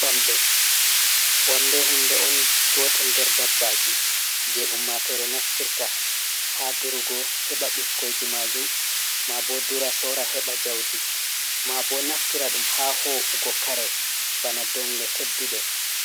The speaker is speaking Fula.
"Bamɗe" wamde hunde on gotel nder dabbaji je ummatore naftirta ha durugo heɓa bikkoiji majum maabo dura sora heɓa njaudi maabo naftira ɗum ha wa’ungo kare bana dongle tedduɗe